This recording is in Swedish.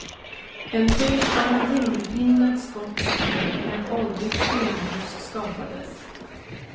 En bild av en vindpinad skotsk hed med ett åldrigt stenhus skapades.